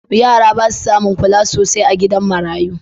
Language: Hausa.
Yara ba su samun kula sosai a gidan marayu